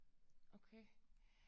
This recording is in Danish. Okay